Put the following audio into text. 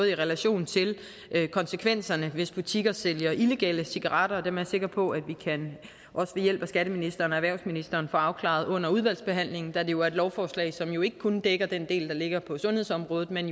i relation til konsekvenserne hvis butikker sælger illegale cigaretter og dem er sikker på at vi ved hjælp af skatteministeren og erhvervsministeren kan få afklaret under udvalgsbehandlingen da det jo er et lovforslag som ikke kun dækker den del der ligger på sundhedsområdet men